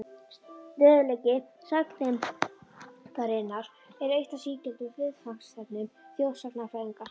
Stöðugleiki sagngeymdarinnar er eitt af sígildum viðfangsefnum þjóðsagnafræðinga.